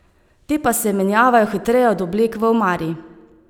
Te pa se menjavajo hitreje od oblek v omari.